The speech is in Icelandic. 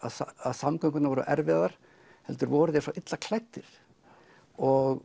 samgöngurnar voru erfiðar heldur voru þeir svo illa klæddir og